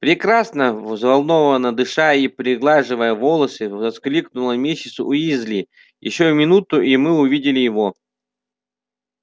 прекрасно взволнованно дыша и приглаживая волосы воскликнула миссис уизли ещё минута и мы увидим его